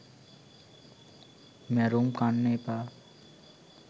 මැරුම් කන්න එපා